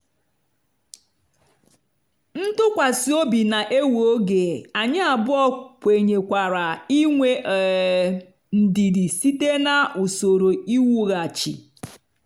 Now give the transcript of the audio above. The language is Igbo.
ntụkwasị obi na-ewe oge anyị abụọ kwenyekwara inwe um ndidi site na usoro iwughachi.